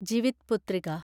Jivitputrika